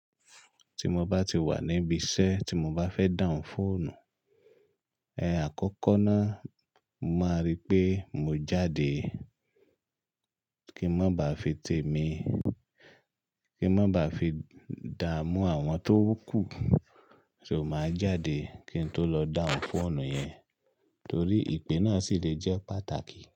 Tí mo bá ti wà níbi iṣẹ́ tí mo bá fẹ́ dahùn fóònù, ẹ àkọ́kọ́ náà, mo máa rí pé mo jáde kí ń má baà fi tèmi, kí ń má baà fi dààmú àwọn tó ń kù, soo máa jáde kí n tó lọ dahùn fóònù yẹn torí ìpè náà sì lè jẹ́ pàtàkì.